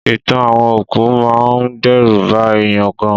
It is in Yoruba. Ìtàn àwọn òkú máa ń dẹ́rù ba èèyàn gan